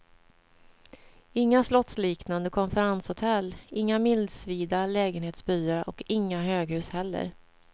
Inga slottsliknande konferenshotell, inga milsvida lägenhetsbyar och inga höghus heller.